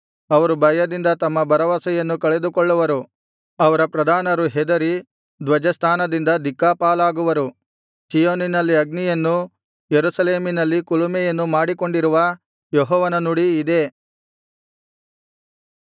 ಅವರು ಭಯದಿಂದ ತಮ್ಮ ಭರವಸೆಯನ್ನು ಕಳೆದುಕೊಳ್ಳುವರು ಅವರ ಪ್ರಧಾನರು ಹೆದರಿ ಧ್ವಜಸ್ಥಾನದಿಂದ ದಿಕ್ಕಾಪಾಲಾಗುವರು ಚೀಯೋನಿನಲ್ಲಿ ಅಗ್ನಿಯನ್ನೂ ಯೆರೂಸಲೇಮಿನಲ್ಲಿ ಕುಲುಮೆಯನ್ನೂ ಮಾಡಿಕೊಂಡಿರುವ ಯೆಹೋವನ ನುಡಿ ಇದೇ